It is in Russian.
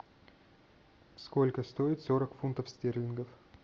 сколько стоит сорок фунтов стерлингов